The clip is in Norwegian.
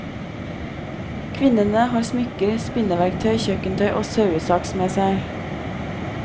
Kvinnene har smykker, spinneverktøy, kjøkkentøy og sauesaks med seg.